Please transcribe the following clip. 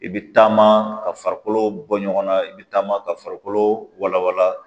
I bɛ taama ka farikolo bɔ ɲɔgɔnna i bɛ taama ka farikolo walawala